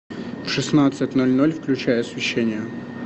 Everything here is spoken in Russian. в шестнадцать ноль ноль включай освещение